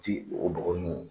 o bɔgɔ ninnu